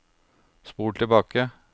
spol tilbake